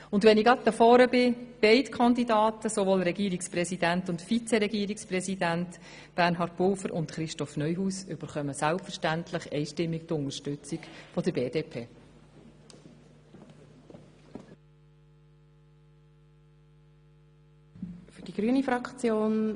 Da ich schon hier vorne bin, halte ich auch gleich fest: Beide Kandidaten, sowohl Bernhard Pulver als Regierungspräsident wie auch Christoph Neuhaus als Regierungsvizepräsident, erhalten selbstverständlich die einstimmige Unterstützung der BDP-Fraktion.